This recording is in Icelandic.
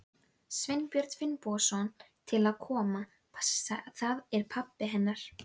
Sveinbjörn Finnbogason til að koma. það er pabbi hennar.